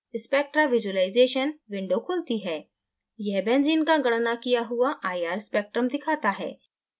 spectra visualization window खुलती है यह benzene का गणना किया हुआ ir spectrum दिखाता है